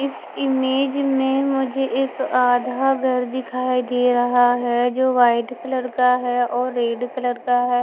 इस इमेज में मुझे एक आधा घर दिखाई दे रहा है जो वाइट कलर का है और रेड कलर का है।